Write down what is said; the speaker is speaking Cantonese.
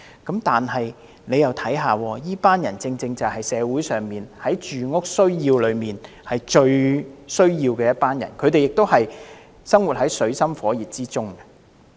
但請看看這群人，他們正是社會中在住屋需要上最需要幫助的，他們生活在水深火熱之中。